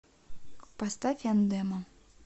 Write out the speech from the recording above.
поставь андема